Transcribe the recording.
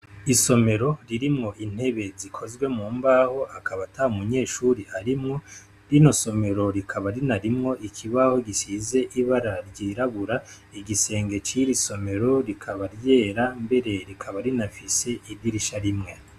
Isomero ririmwo intebe zikozwe mu mbaho akaba ata munyeshure arimwo rino somero rikaba rinarimwo ikibaho gisize ibara ryirabura igisenge ciri somero rikaba ryera mbere rikaba rinafise idirisha rimwe.